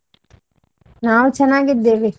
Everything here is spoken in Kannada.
ನಾವ್ ಚನ್ನಗಿದ್ದೇವೆ.